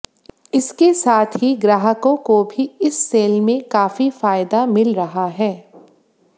इसके साथ ही ग्रहाकों को भी इस सेल में काफी फायदा मिल रहा है